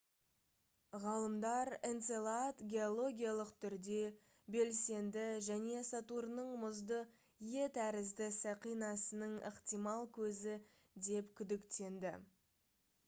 ғалымдар энцелад геологиялық түрде белсенді және сатурнның мұзды е тәрізді сақинасының ықтимал көзі деп күдіктенді